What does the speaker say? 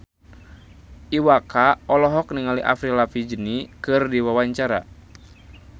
Iwa K olohok ningali Avril Lavigne keur diwawancara